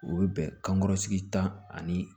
U bɛ bɛn kankɔrɔ sigi ta ani